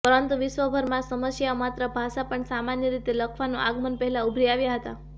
પરંતુ વિશ્વભરમાં સમસ્યાઓ માત્ર ભાષા પણ સામાન્ય રીતે લખવાનું આગમન પહેલાં ઉભરી આવ્યા હતા